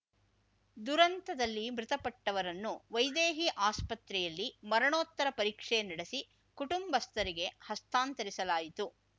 ದುರಂತದಲ್ಲಿ ಮೃತಪಟ್ಟವರನ್ನು ವೈದೇಹಿ ಆಸ್ಪತ್ರೆಯಲ್ಲಿ ಮರಣೋತ್ತರ ಪರೀಕ್ಷೆ ನಡೆಸಿ ಕುಟುಂಬಸ್ಥರಿಗೆ ಹಸ್ತಾಂತರಿಸಲಾಯಿತು